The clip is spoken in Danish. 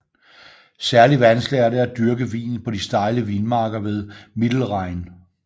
Særligt vanskeligt er det at dyrke vinen på de stejle vinmarker ved Mittelrhein